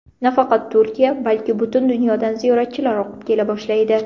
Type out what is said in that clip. Nafaqat Turkiya balki butun dunyodan ziyoratchilar oqib kela boshlaydi.